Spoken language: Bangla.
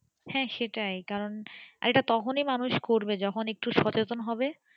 হ্যাঁ সেটাই কারণ এটা তখনি মানুষ করবে যখন একটু সচেতন হবে